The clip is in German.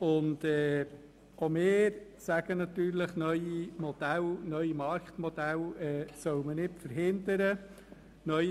Auch wir sind der Meinung, dass neue Marktmodelle nicht verhindert werden sollen.